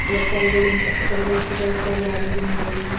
ഇലകറികളും പച്ചകറികളുമൊക്കെ കഴിച്ചാലല്ലേ ആരോഗ്യമുണ്ടാകുകയുള്ളൂ.